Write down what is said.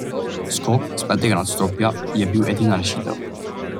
Skok s petega nadstropja je bil edina rešitev.